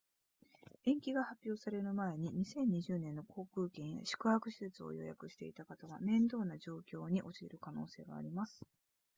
延期が発表される前に2020年の航空券や宿泊施設を予約していた方は面倒な状況に陥る可能性があります